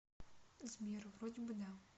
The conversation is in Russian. сбер вроде бы да